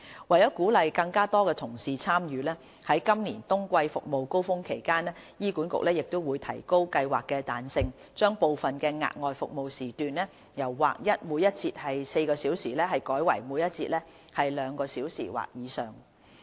為鼓勵更多同事參與，於今年冬季服務高峰期間，醫管局會提高計劃的彈性，將部分額外服務時段由劃一每節4小時改為每節兩小時或以上。